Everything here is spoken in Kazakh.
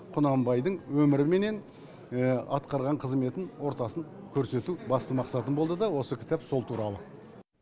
құнанбайдың өміріменен атқарған қызметін ортасын көрсету басты мақсатым болды да осы кітап сол туралы